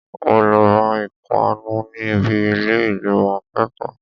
O lè ra ìpanu ní ibi ilé ìgbìmò akẹ́kọ̀ọ́.